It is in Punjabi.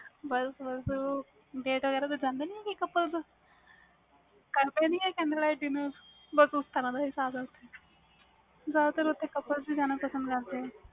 ਬਸ ਬਸ ਹੋ date ਵਗੈਰਾ ਜਾਂਦੇ ਨੇ couple ਤੇ ਜਾਂਦੇ ਕਰਦੇ ਨੇ candle light dinner ਬਸ ਉਸ ਤਰਾਂ ਦਾ ਇਹਸਾਸ ਜਿਆਦਾ ਤਰ ਓਥੇ couple ਹੀ ਜਾਣਾ ਪਸੰਦ ਕਰਦੇ ਨੇ